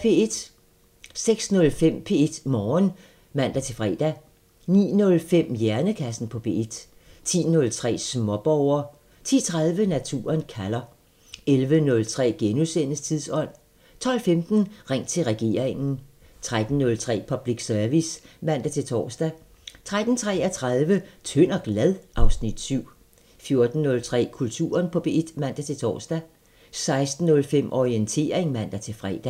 06:05: P1 Morgen (man-fre) 09:05: Hjernekassen på P1 10:03: Småborger 10:30: Naturen kalder 11:03: Tidsånd * 12:15: Ring til regeringen 13:03: Public Service (man-tor) 13:33: Tynd og glad? (Afs. 7) 14:03: Kulturen på P1 (man-tor) 16:05: Orientering (man-fre)